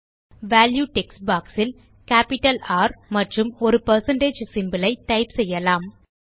value text box இல் capital R மற்றும் ஒரு பெர்சென்டேஜ் சிம்போல் ஐ டைப் செய்யலாம்